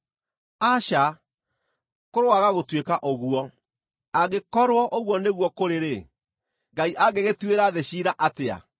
Aca, kũroaga gũtuĩka ũguo! Angĩkorwo ũguo nĩguo kũrĩ-rĩ, Ngai angĩgĩtuĩra thĩ ciira atĩa?